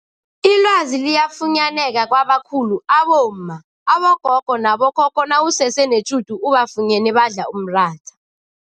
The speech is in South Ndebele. Ilwazi liyafunyaneka kwabakhulu abomma, abogogo nabo khokho nawusese netjhudu ubafunyene badla umratha.